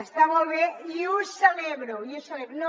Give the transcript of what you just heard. està molt bé i ho celebro i ho celebro